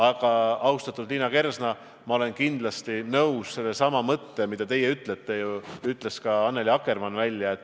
Aga, austatud Liina Kersna, ma olen kindlasti nõus sellesama mõttega, mida ütlesite teie ja ütles ka Annely Akkermann.